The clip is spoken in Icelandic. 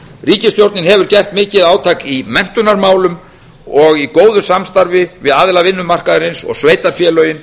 ríkisstjórnin hefur gert mikið átak í menntunarmálum og í góðu samstarfi við aðila vinnumarkaðarins og sveitarfélögin